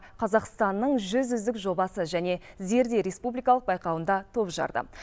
қазақстанның жүз үздік жобасы және зерде республикалық байқауында топ жарды